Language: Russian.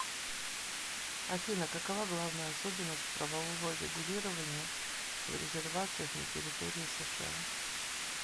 афина какова главная особенность правового регулирования в резервациях на территории сша